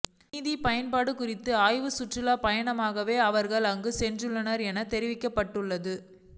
நிதி பயன்பாடு குறித்த ஆய்வுச் சுற்றுப் பயணமாகவே அவர்கள் அங்கு சென்றுள்ளனர் என தெரிவிக்கப்பட்டுள்ளது